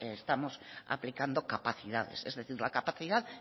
estamos aplicando capacidades es decir la capacidad